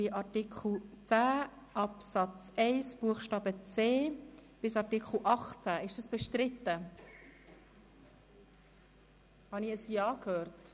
Hier liegt ein Antrag der Grossräte Siegenthaler und Bichsel vor.